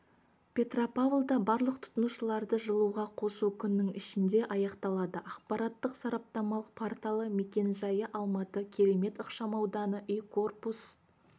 петропавлда барлық тұтынушыларды жылуға қосу күннің ішінде аяқталады ақпараттық-сараптамалық порталы мекен-жайы алматы керемет ықшамауданы үй корпус